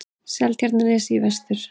Seltjarnarnesi í vestur.